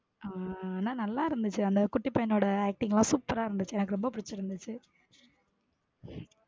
ஹம் ஆனா நல்ல இருந்துச்சு அந்த குட்டி பையன் நோட acting லாம் super ஆ இருந்துச்சு எனக்கு ரொம்ப புடுச்சுருந்துச.